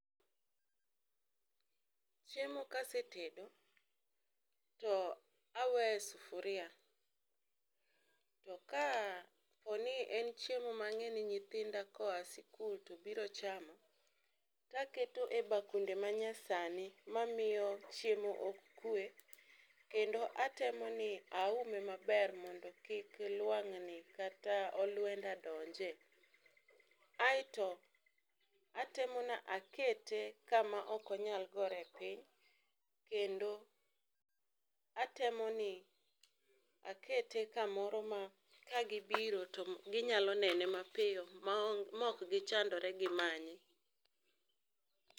Chiemo kasetedo to aweyo e sufuria to ka poni en chiemo ma ang'eyo ni nyithinda koa sikul to biro chamo to aketo e bakunde manyasani mamiyo chiemo ok kwe kendo atemo ni aume maber mondo kik lwang'ni kata olwenda donje. aito atemo ni akete kama ok onyal gore piny kendo atemo ni akete kamoro ma ka gibiro to ginyalo nene mapiyo maok gichandore gi manye